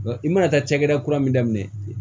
I mana taa cakɛda kura min daminɛ